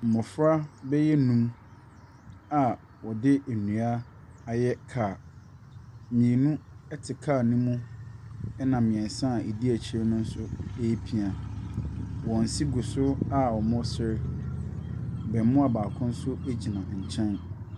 Mmɔfra bɛyɛ nnum a wɔde nnua ayɛ kaa. Mmienu te kaa no mu, ɛnna mmeɛnsa a wɔdi akyire no nso repia. Wɔn se go so a wɔresere. Abaamua baako nso gyina nkyɛn.